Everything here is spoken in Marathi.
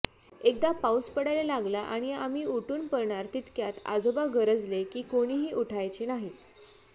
एकदा पाऊस पडायला लागला आणि आम्ही उठून पाळणार तितक्यात आजोबा गरजले कि कोणीही उठायचे नाही